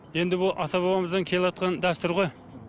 енді ол ата бабамыздан келеатқан дәстүр ғой